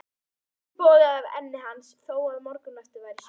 Svitinn bogaði af enni hans þó að morgunloftið væri svalt.